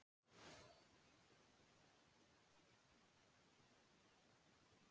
Þessi tunga er árið um kring kaldari en sjórinn fyrir austan hana og sunnan.